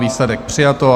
Výsledek: přijato.